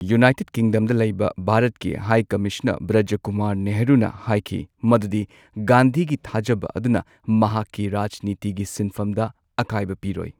United ꯀꯤꯡꯗꯝꯗ ꯂꯩꯕ ꯚꯥꯔꯠꯀꯤ ꯍꯥꯏ ꯀꯃꯤꯁꯅꯔ ꯕ꯭ꯔꯖ ꯀꯨꯃꯥꯔ ꯅꯦꯍꯔꯨꯅ ꯍꯥꯏꯈꯤ ꯃꯗꯨꯗꯤ ꯒꯥꯟꯙꯤꯒꯤ ꯊꯥꯖꯕ ꯑꯗꯨꯅ ꯃꯍꯥꯛꯀꯤ ꯔꯥꯖꯅꯤꯇꯤꯒꯤ ꯁꯤꯟꯐꯝꯗ ꯑꯀꯥꯢꯕ ꯄꯤꯔꯣꯢ꯫